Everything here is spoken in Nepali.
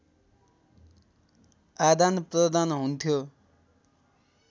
आदानप्रदान हुन्थ्यो